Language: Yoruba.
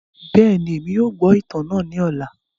Bẹẹni, Emi yóò gbọ itan naa ni ọla.